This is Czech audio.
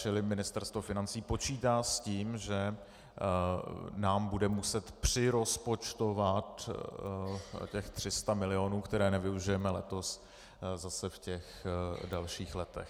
Čili Ministerstvo financí počítá s tím, že nám bude muset přirozpočtovat těch 300 milionů, které nevyužijeme letos, zase v těch dalších letech.